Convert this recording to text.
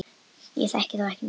Ég þekki þá ekki neitt.